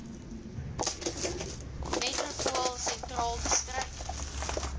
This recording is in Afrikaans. metropool sentraal distrik